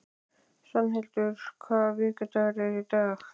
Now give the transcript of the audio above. Svanhildur, hvaða vikudagur er í dag?